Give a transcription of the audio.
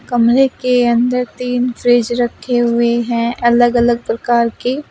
कमरे के अंदर तीन फ्रिज रखे हुए हैं अलग अलग प्रकार के।